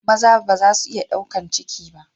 Maza ba za su iya ɗaukar ciki ba.